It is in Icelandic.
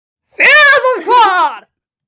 Fela það hvar?